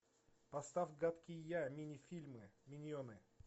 поставь гадкий я мини фильмы миньоны